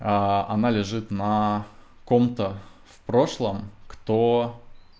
а она лежит на ком-то в прошлом кто